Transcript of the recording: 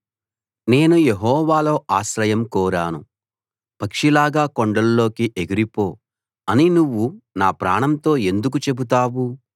నేను యెహోవాలో ఆశ్రయం కోరాను పక్షిలాగా కొండల్లోకి ఎగిరిపో అని నువ్వు నా ప్రాణంతో ఎందుకు చెబుతావు